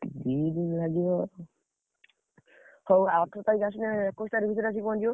ଦି ଦିନ୍ ଲାଗିବ, ହଉ ଅଠର ତାରିଖ୍ ଆସିଲେ ଏକୋଇଶି ତାରିଖ୍ ଭିତରେ ଆସି ପହଁଞ୍ଚିଯିବ?